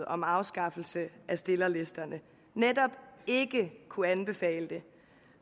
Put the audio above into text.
om afskaffelse af stillerlisterne netop ikke kunne anbefale det